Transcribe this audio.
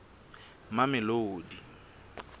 mamelodi